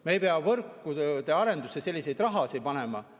Me ei pea võrgutööde arendusse suurt raha panema.